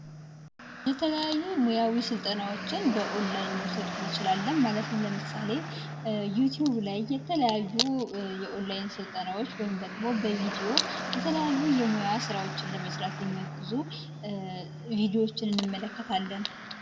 የተለያዩ ሙያዊ ስልጠናዎችን በኦንላይን መውሰድ እንችላለን፤ ማለትም ለምሳሌ ዩቲዩብ ላይ የተለያዩ ስልጠናዎችን ወይም ደግሞ በቪዲዮ የተለያዩ ስራዎችን ለመስራት የሚያግዙ ቪዲዎችን እንመለከታለን።